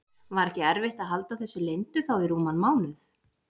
Var ekki erfitt að halda þessu leyndu þá í rúman mánuð?